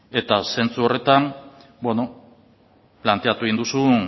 eta zentzu horretan beno planteatu egin du